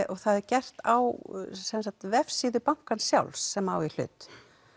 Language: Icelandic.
og það er gert á vefsíðu bankans sem á í hlut